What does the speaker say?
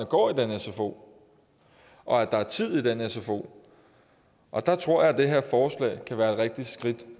går i den sfo og at der er tid i den sfo og der tror jeg at det her forslag kan være et rigtigt skridt